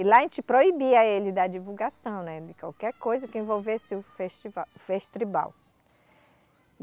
E lá a gente proibia ele da divulgação, né, de qualquer coisa que envolvesse o festival, festribal.